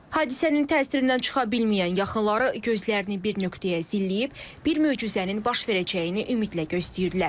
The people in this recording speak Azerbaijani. Hadisənin təsirindən çıxa bilməyən yaxınları gözlərini bir nöqtəyə zilləyib, bir möcüzənin baş verəcəyini ümidlə gözləyirlər.